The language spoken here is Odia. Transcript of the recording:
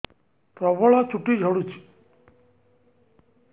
ପ୍ରବଳ ଚୁଟି ଝଡୁଛି